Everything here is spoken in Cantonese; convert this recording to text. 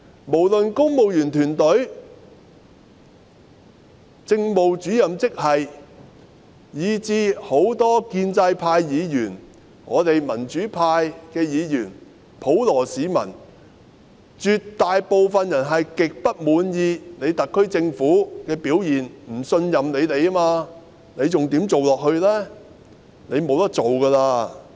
無論是公務員團隊、政務主任職系，以至很多建制派議員、我們民主派議員、普羅市民，絕大部分人也極不滿意特區政府的表現，不信任政府，她還怎樣做下去呢？